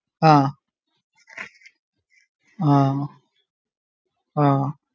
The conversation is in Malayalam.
ആഹ് ആഹ് ആഹ്